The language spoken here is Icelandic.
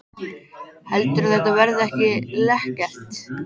Heldurðu að þetta verði ekki lekkert?